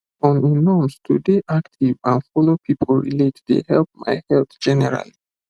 on a norms to dey active and follow people relate dey help my health generally